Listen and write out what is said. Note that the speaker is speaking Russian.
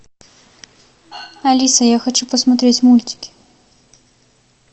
алиса я хочу посмотреть мультики